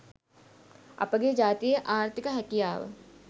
අපගේ ජාතියේ ආර්තික හැකියාව